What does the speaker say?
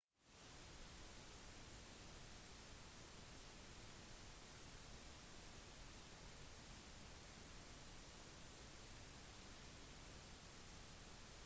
beboere begynte å få panikk og forlot sine bedrifter og hjem til tross for at det ikke er noen tsunami-trussel